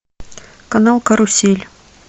канал карусель